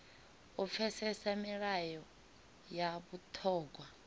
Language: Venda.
u pfesesa milayo ya vhuṱhogwa